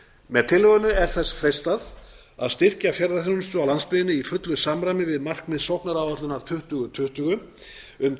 með tillögunni er þess freistað að styrkja ferðaþjónustu á landsbyggðinni í fullu samræmi við markmið sóknaráætlunar tuttugu tuttugu um